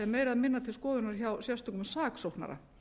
meira eða minna til skoðunar hjá sérstökum saksóknara